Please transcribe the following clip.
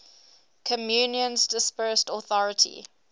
communion's dispersed authority